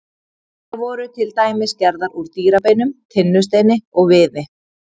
Þær voru til dæmis gerðar úr dýrabeinum, tinnusteini og viði.